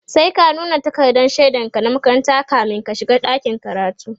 sai ka nuna takardan shaidan ka na makaranta kamin ka shiga dakin karatu